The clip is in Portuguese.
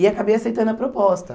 E acabei aceitando a proposta.